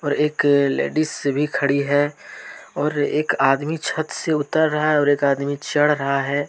और एक लेडिस भी खड़ी है और एक आदमी छत से उतर रहा है और एक आदमी चढ़ रहा है।